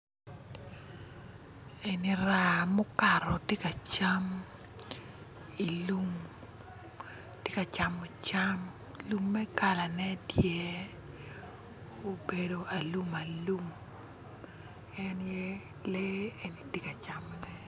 Eni raa mukato tye ka cam i lum ti ka camo cam lumme kalane tye obedo alum en ye lee eni ti ka camone